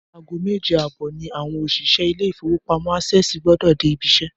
Aago méje àbò̩ ni àwo̩n òs̩ìs̩é̩ ilé ìfowópamó̩ Access gbó̩dò̩ dé ibi is̩é̩